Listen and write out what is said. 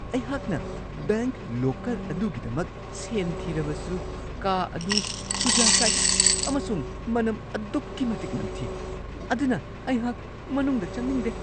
ꯑꯩꯍꯥꯛꯅ bank locker ꯑꯗꯨꯒꯤꯗꯃꯛ ꯁꯦꯟ ꯊꯤꯔꯕꯁꯨ, ꯀꯥ ꯑꯗꯨ ꯁꯨꯖꯥ ꯀꯥꯏ ꯑꯃꯁꯨꯡ ꯃꯅꯝ ꯑꯗꯨꯛꯀꯤ ꯃꯇꯤꯛ ꯅꯝꯊꯤ, ꯑꯗꯨꯅ ꯑꯩꯍꯥꯛ ꯃꯅꯨꯡꯗ ꯆꯪꯅꯤꯡꯗꯦ ꯫